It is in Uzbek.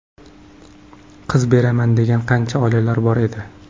Qiz beraman degan qancha oilalar bor edi.